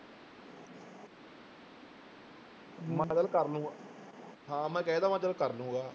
ਮੈਂ ਚੱਲ ਕਰ ਲਊਂਗਾ ਹਾਂ, ਮੈਂ ਕਹਿ ਦਿੱਤਾ ਮੈਂ ਚੱਲ ਕਰ ਲਊਂਗਾ।